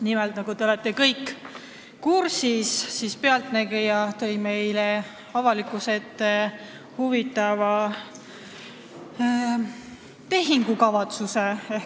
Nimelt, nagu te kõik kursis olete, tõi "Pealtnägija" avalikkuse ette ühe huvitava tehingukavatsuse.